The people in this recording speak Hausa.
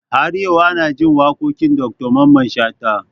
Har yau ana jin waƙoƙin Dr Mamman Shatta